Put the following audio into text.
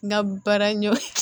N ga baara ɲɔ